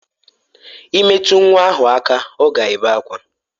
I metụ nwa ahụ aka, ọ ga-ebe akwa.